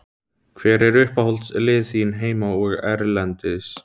Hver eru uppáhaldslið þín heima og erlendis?